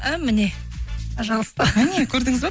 і міне пожалуйста міне көрдіңіз ба